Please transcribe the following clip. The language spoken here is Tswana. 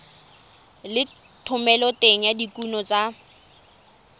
le thomeloteng ya dikuno tsa